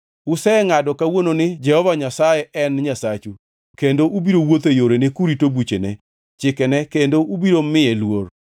Usengʼado kawuono ni Jehova Nyasaye en e Nyasachu kendo ubiro wuotho e yorene kurito buchene, chikene kendo ubiro miye luor.